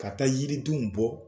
Ka taa yiridenw bɔ.